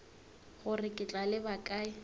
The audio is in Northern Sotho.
gore ke tla leba kae